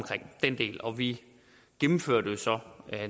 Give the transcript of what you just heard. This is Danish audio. og vi gennemfører det jo så